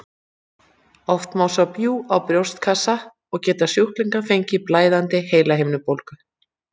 Oft má sjá bjúg á brjóstkassanum og geta sjúklingar fengið blæðandi heilahimnubólgu.